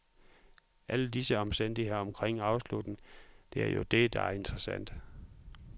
Alle disse omstændigheder omkring afslutningen, det er jo det, der er interessant.